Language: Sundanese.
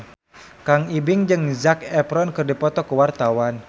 Kang Ibing jeung Zac Efron keur dipoto ku wartawan